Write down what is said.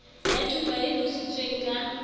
ya thupa e tlotsitsweng ka